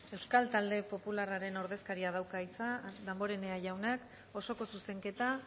euskal talde popularraren ordezkaria dauka hitza damborenea jaunak osoko zuzenketa